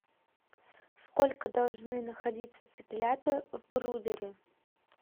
сколько должны находиться цыплята в брудере